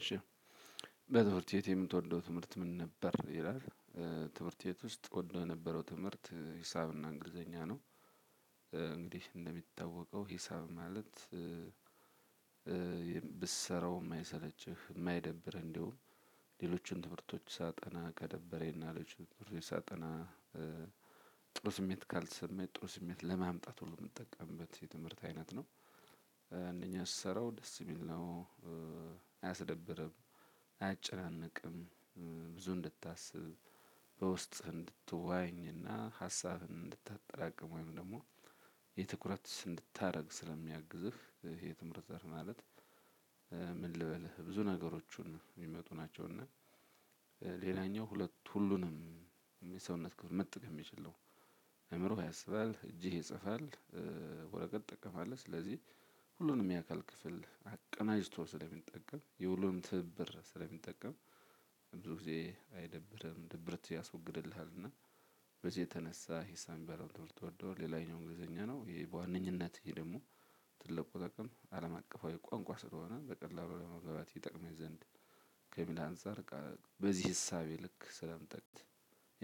እሺ በትምህርት ቤት የምትወደው ትምህርት ምን ነበር ይላል? ትምህርት ቤት ውስጥ እወድ የነበረው ትምህርት ሂሳብና እንግሊዘኛ ነው። እንግዲህ እንደሚታወቀው ሂሳብ ማለት ብትሰራው የማይሰለችህ የማይደብርህ እንዲሁ ሌሎችን ትምህርቶች ሳጠና ከደደበረኝና ሌሎችን ትምህርት ሳጠና። ጥሩ ስሜት ካልተሰማኝ ጥሩ ስሜት ለማምጣት ሁሉ የምጠቀምበት የትምህርት አይነት ነው። አንደኛ ስሰራው ደስ የሚል ነው አያስደብርም አያጨናንቅም። ብዙ እንድታስብ በውስጥህ እንድትወያይ እና ሃሳብህን እንድታጠራቅም ወይም ደግሞ የትኩረት እንድታደርግ ስለሚያግዝህ። የትምህርት ዘርፍ ማለት ምን ልበልህ ብዙ ነገሮቹን የሚመጡ ናቸው። እና ሁለት ሁሉንም የሰውነት ክፍል መጠቀም የሚችል ነው። አእምሮህ ያስባል እጅህ ይፅፋል። ወረቀት ትጠቀማለህ ስለዚህ ሁሉንም የአካል ክፍል አቀናጅቶ ስለሚጠቀም የሁሉንም ትብብር ስለሚጠቀም። ብዙ ጊዜ አይደብርህም ድብርት ያስወግድልሃልና። በዚህ የተነሳ የምትወደው ሌላኛው እንግሊዘኛ ነው ይሄ በዋነኛነት ይሄ ደግሞ ትልቁ ጥቅም አለምአቀፋዊ ቋንቋ ስለሆነ በቀላሉ ለመግባባት ይጠቅመኝ ዘንድ ከሚል አንፃር በቃ በዚህ እሳቤ ልክ ስለምጠቅቅ